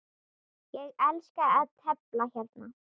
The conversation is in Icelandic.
Ég elska að tefla hérna.